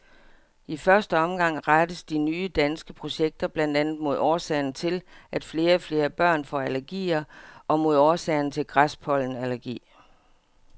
I første omgang rettes de nye danske projekter blandt andet mod årsagerne til, at flere og flere børn får allergier og mod årsagerne til græspollenallergi.